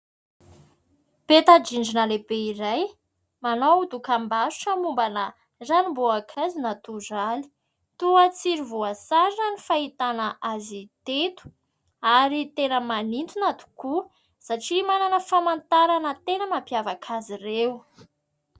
Peta-drindrina lehibe iray manao dokam-barotra momba ana ranom-boankazo natoraly toa tsiry voasarona ny fahitana azy teto ary tena manitona tokoa satria manana famantarana tena mampiavaka azy ireo.